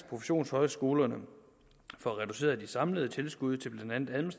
professionshøjskolerne år får reduceret de samlede tilskud til blandt andet